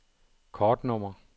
kortnummer